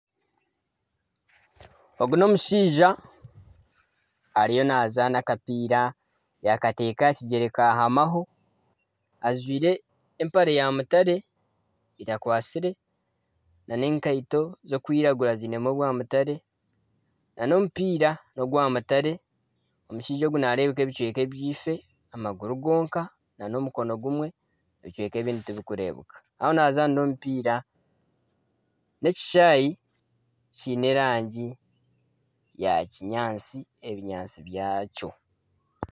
Ogu n'omushaija ariyo nazaana akapiira yakateeka aha kigyere kahamaho ajwaire empare ya mutare etakwatsire nana enkaito ez'okwiragura zinemu obwa mutare nana omupiira n'ogwa mutare omushaija ogu nareebeka ebicweka ebyaife amaguru gonka nana omukono gumwe ebicweka ebyifo nana ebindi tibirikureebwa ahu ariyo nazaanira omupiira n'ekishaayi kiine erangi ya kinyaatsi ebinyatsi byakyo.